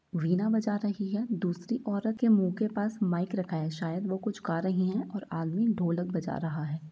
वीणा बजा रही है दूसरी औरत के मुँह के पास माइक रखा है शायद वो कुछ गा रही हैं और आदमी ढोलक बजा रहा है।